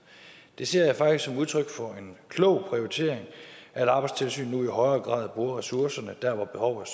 det ser jeg faktisk som udtryk for en klog prioritering at arbejdstilsynet nu i højere grad bruger ressourcerne der hvor behovet